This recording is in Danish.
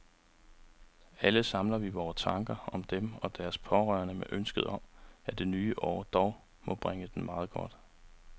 Alle samler vi vore tanker om dem og deres pårørende med ønsket om, at det nye år dog må bringe dem meget godt.